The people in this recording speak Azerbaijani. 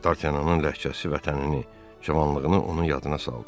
Dartanyanın ləhcəsi vətənini, cavanlığını onun yadına saldı.